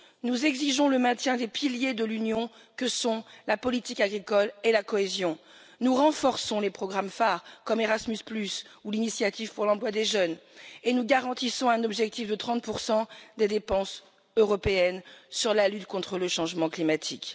Nous exigeons le maintien des piliers de l'Union que sont la politique agricole et la cohésion, nous renforçons les programmes phares comme Erasmus ou l'initiative pour l'emploi des jeunes, et nous garantissons un objectif de 30 des dépenses européennes sur la lutte contre le changement climatique.